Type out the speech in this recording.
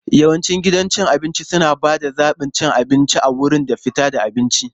Yawancin gidajen cin abinci suna ba da zaɓin cin abinci a wurin da fitar da abinci.